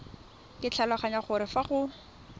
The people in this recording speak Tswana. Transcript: ke tlhaloganya gore fa go